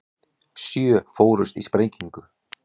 Sjö fórust í sprengingu